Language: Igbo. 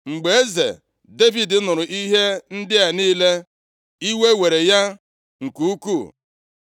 Mgbe eze Devid nụrụ ihe ndị a niile, iwe were ya nke ukwuu.